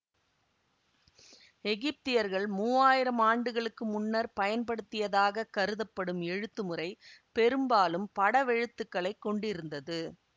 எகிப்தியர்கள் மூவாயிரம் ஆண்டுகளுக்கு முன்னர் பயன்படுத்தியதாகக் கருதப்படும் எழுத்து முறை பெரும்பாலும் படவெழுத்துக்களைக் கொண்டிருந்தது